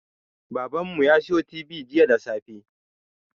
Baban mu ya siyo tibi jiya da safe